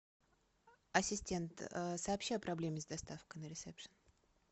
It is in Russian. ассистент сообщи о проблеме с доставкой на ресепшн